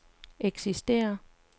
eksisterer